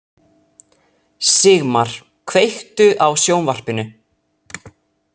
Sigmar, kveiktu á sjónvarpinu.